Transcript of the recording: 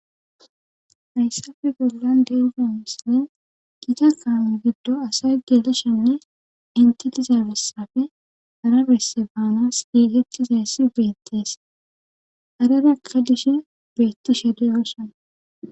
Haysappe bolan deyiya misiley gita cadame gido asay gelishenne intidesappe hara besi banaw gigitishe deyssa bettes karera xelishin betishe dosona.